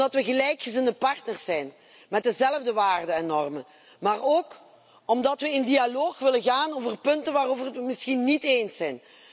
Omdat we gelijkgezinde partners zijn met dezelfde waarden en normen, maar ook omdat we in dialoog willen gaan over punten waarover we het misschien niet eens zijn.